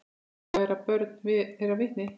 Þess bera börn þeirra vitni.